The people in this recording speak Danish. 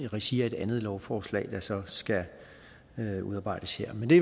regi af et andet lovforslag der så skal udarbejdes her men det